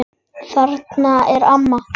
Þarna er amma!